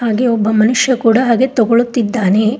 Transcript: ಹಾಗೆ ಒಬ್ಬ ಮನುಷ್ಯ ಕೂಡ ಹಾಗೆ ತಗೊಳುತ್ತಿದ್ದಾನೆ.